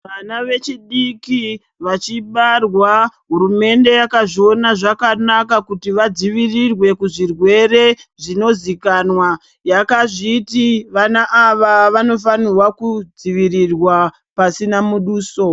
Vana vechidiki vachibarwa hurumende yakazviona zvakanaka kuti vadzivirirwe kuzvirwere zvinozikanwa yakazviti vana ava vanofanirwa kudzivirirwa pasina muduso.